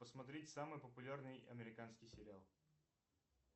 посмотреть самый популярный американский сериал